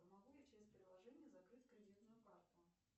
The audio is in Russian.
могу я через приложение закрыть кредитную карту